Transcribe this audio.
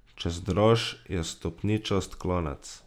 Čez Draž je stopničast klanec.